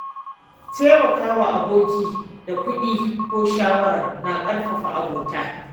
Taimaka wa aboki da kuɗi ko shawara na ƙarfafa abota.